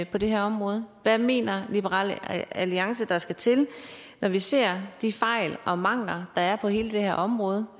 på det her område hvad mener liberal alliance der skal til når vi ser de fejl og mangler der er på hele det her område